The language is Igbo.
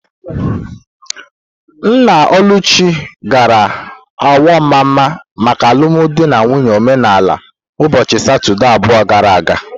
Nna Oluchi gara Awo-Mama maka alụmdi na nwunye omenala ụbọchị Satọdee abụọ gara aga.